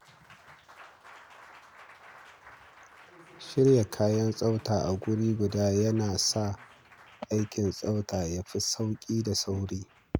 Shirya kayan tsafta a wuri guda yana sa aikin tsaftacewa ya fi sauƙi da sauri.